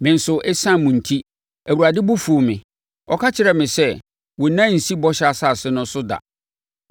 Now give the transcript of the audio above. Me nso, ɛsiane mo enti, Awurade bo fuu me. Ɔka kyerɛɛ me sɛ, “Wo nan rensi Bɔhyɛ Asase no so da!